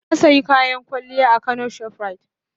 Na sayi kayan kwalliya a kano shoprite.